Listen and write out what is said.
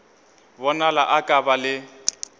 bonala a ka ba le